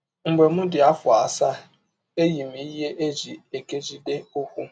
Mgbe m dị m afọ asaa, eyi m ihe e ji ekegide ụkwụ